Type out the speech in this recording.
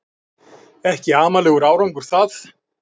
Ekki amalegur árangur það